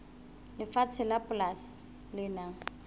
lefatshe la polasi le nang